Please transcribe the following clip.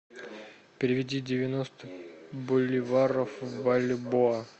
переведи девяносто боливаров в бальбоа